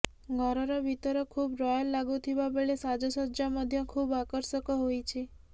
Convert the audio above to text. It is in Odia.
ଘରର ଭିତର ଖୁବ୍ ରୟାଲ ଲାଗୁଥିବା ବେଳେ ସାଜସଜ୍ଜା ମଧ୍ୟ ଖୁବ୍ ଆକର୍ଷକ ହୋଇଛି